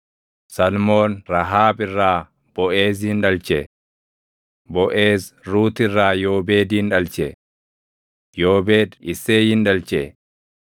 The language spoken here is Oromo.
Salmoon Rahaab irraa Boʼeezin dhalche; Boʼeez Ruut irraa Yoobeedin dhalche; Yoobeed Isseeyin dhalche;